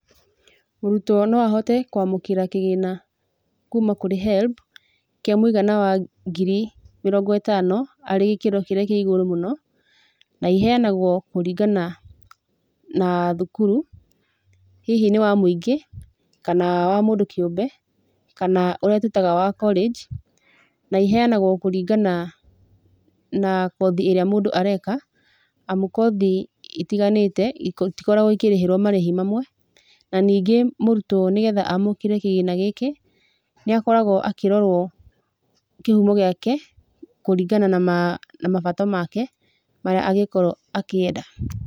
Mũrutwo no ahote kwamũkĩra kĩgĩna kuma kũrĩ HELB, kĩa mũigana wa ngiri mirongo ĩtano arĩ gĩkĩro kĩrĩa kĩa igũrũ mũno, na iheanagwo kũringana na thukuru, hihi nĩ wa mũingĩ kana wa mũndũ kĩũmbe, kana ũrĩa twĩtaga wa college. Na iheanagwo kũringana na kothi ĩrĩa mũndũ areka amu kothi itiganĩte itikoragwo ikĩrĩhĩrwo marĩhi mamwe. Na ningĩ mũrutwo nĩ getha amũkĩre kĩgĩna gĩkĩ, nĩakoragwo akĩrorwo kĩhumo gĩake kũringana na mabata make marĩa angĩkorwo akĩenda.